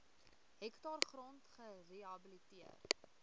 hektaar grond gerehabiliteer